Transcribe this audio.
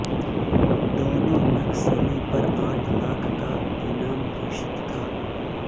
दोनों नक्सली पर आठ लाख का इनाम घोषित था